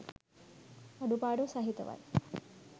අඩුපාඩු සහිතවයි